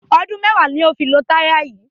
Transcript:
Ọdun mẹwa lo fi lo taya yi